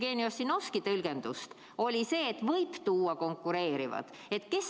Nüüd, Jevgeni Ossinovski tõlgendus on selline, et võib tuua ka konkureerivaid.